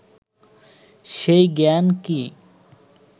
সেই জ্ঞান কি